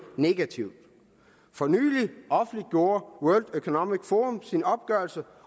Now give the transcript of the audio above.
negativt for nylig offentliggjorde world economic forum sin opgørelse